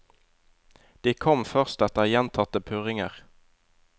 De kom først etter gjentatte purringer.